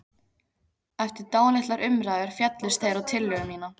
Eftir dálitlar umræður féllust þeir á tillögu mína.